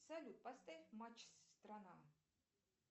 салют поставь матч страна